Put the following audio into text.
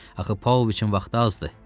Axı Paoviçin vaxtı azdı.